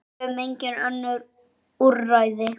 Við höfum engin önnur úrræði.